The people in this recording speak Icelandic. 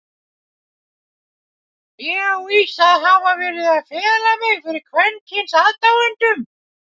Ég á víst að hafa verið að fela mig fyrir kvenkyns aðdáendum?!